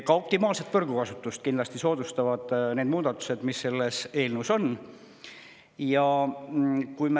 Ka optimaalset võrgukasutust soodustavad kindlasti need muudatused, mis selles eelnõus on.